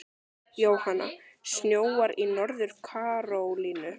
Jóhanna: Snjóar í Norður-Karólínu?